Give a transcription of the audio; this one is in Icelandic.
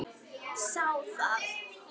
Þá það.